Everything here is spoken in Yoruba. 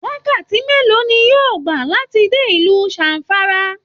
Wakati mélòó ni yóò gbà láti dé ilú Zamfara?